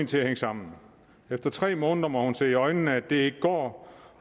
til at hænge sammen efter tre måneder må hun se i øjnene at det ikke går